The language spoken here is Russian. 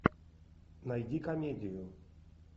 найди комедию